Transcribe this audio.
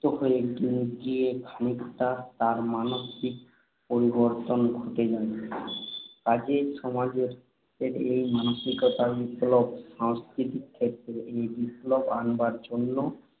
হয়ে গিয়ে খানিকটা তার মানসিক পরিবর্তন ঘটে যায়। কাজেই সমাজের এই মানসিকতার বিপ্লব, সাংস্কৃতিক ক্ষেত্রে সেই বিপ্লব আনবার জন্য